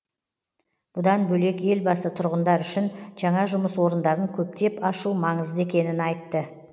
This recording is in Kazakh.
бұдан бөлек елбасы тұрғындар үшін жаңа жұмыс орындарын көптеп ашу маңызды екенін айтты